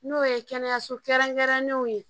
N'o ye kɛnɛyaso kɛrɛnkɛrɛnnenw ye